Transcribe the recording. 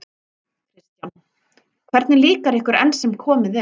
Kristján: Hvernig líkar ykkur enn sem komið er?